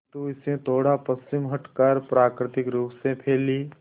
किंतु इससे थोड़ा पश्चिम हटकर प्राकृतिक रूप से फैली